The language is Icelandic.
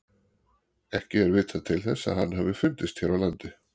Ekki er vitað til þess að hann hafi fundist hér á landi.